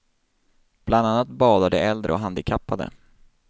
Bland annat badar de äldre och handikappade.